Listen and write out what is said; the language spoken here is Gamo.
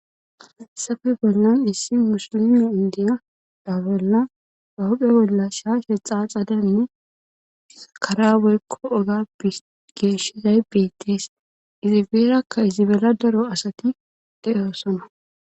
Hayssafe bollan issi musilimi indiya daa bolla bawuphe bolla shaashe xaaxadanne karabelkko oga geeshizay beettees izibeerakka izibela daro asati de7oosona.